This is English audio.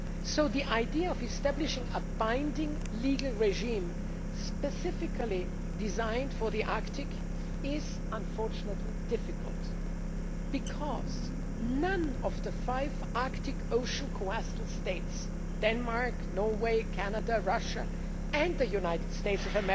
So the idea of establishing a binding legal regime specifically designed for the Arctic is, unfortunately, difficult, because none of the five Arctic Ocean coastal states Denmark, Norway, Canada, Russia and the United States is